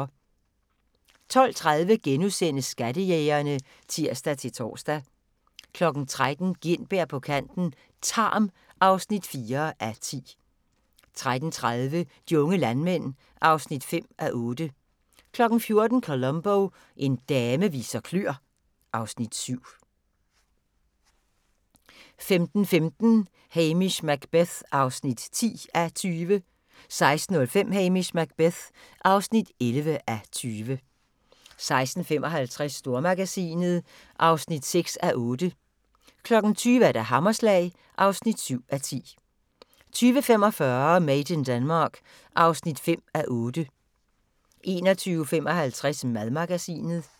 12:30: Skattejægerne *(tir-tor) 13:00: Gintberg på kanten - Tarm (4:10) 13:30: De unge landmænd (5:8) 14:00: Columbo: En dame viser kløer (Afs. 7) 15:15: Hamish Macbeth (10:20) 16:05: Hamish Macbeth (11:20) 16:55: Stormagasinet (6:8) 20:00: Hammerslag (7:10) 20:45: Made in Denmark (5:8) 21:55: Madmagasinet